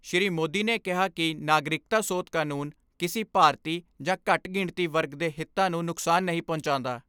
ਸ੍ਰੀ ਮੋਦੀ ਨੇ ਕਿਹਾ ਕਿ ਨਾਗਰਿਕਤਾ ਸੋਧ ਕਾਨੂੰਨ ਕਿਸੀ ਭਾਰਤੀ ਜਾਂ ਘੱਟ ਗਿਣਤੀ ਵਰਗ ਦੇ ਹਿੱਤਾਂ ਨੂੰ ਨੁਕਸਾਨ ਨਹੀਂ ਪਹੁੰਚਾਉਂਦਾ।